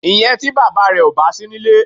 Ìyẹn tí bàbá rẹ ò bá sí nílé.